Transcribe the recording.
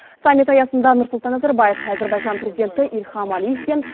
саммит аясында нұрсұлтан назарбаев әзербайжан президенті ильхам алиевпен